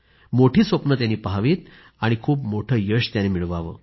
मोठी स्वप्न त्यांनी पहावीत आणि खूप मोठे यश मिळवावे